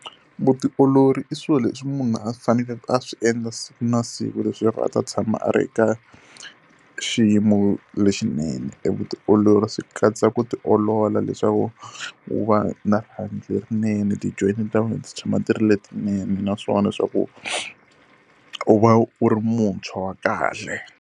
Vutiolori i swilo leswi munhu a swi fanekele a swi endla siku na siku leswaku a ta tshama a ri ka xiyimo lexinene. E vutiolori swi katsa ku ti olola leswaku u va na rihanyo lerinene, ti-joint ta wena ti tshama ti ri letinene naswona leswaku u va u ri muntshwa wa kahle.